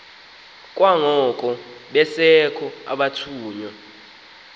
kwangoko besekho abathunywa